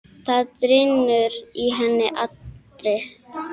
Það drynur í henni allri.